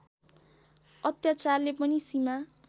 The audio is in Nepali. अत्याचारले पनि सीमा